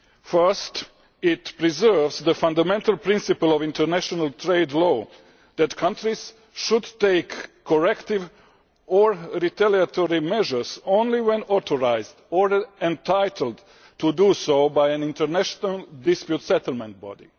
Firstly, it preserves the fundamental principle of international trade law that countries should take corrective or retaliatory measures only when authorised or entitled to do so by an international dispute settlement body.